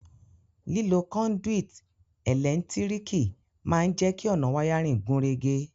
Lílo conduit ẹ́lẹ̀ntíríkì ma n je ki ọ̀nà wiring gúnrégé